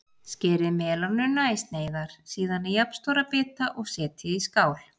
Skerið melónuna í sneiðar, síðan í jafnstóra bita og setjið í skál.